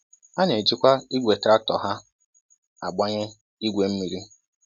Ha na-ejikwa igwe traktọ ha agbanye igwe mmiri